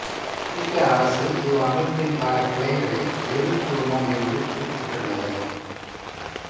அமெரிக்க அரசு இவ்வமைப்பின் பல கிளைகளை வெறுக்குழுமம் என்று குறிப்பிட்டுள்ளது